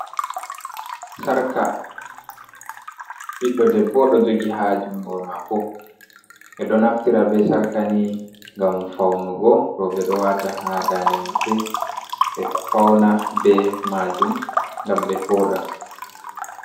Sarka biddo debbo ɗo jogi ha jungo mako, ɓe do naftira ɓe sarka ni ngam faunugo, roɓe ɗo wata ha dande maɓɓe ɓe fauna ɓe majum ngam be voda.